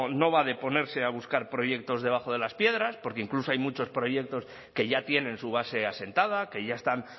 no va de ponerse a buscar proyectos debajo de las piedras porque incluso hay muchos proyectos que ya tienen su base asentada que ya están